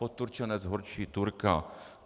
Poturčenec horší Turka.